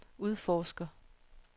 udforsker